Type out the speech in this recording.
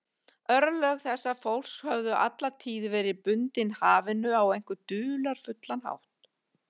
Örlög þessa fólks höfðu alla tíð verið bundin hafinu á einhvern dularfullan hátt.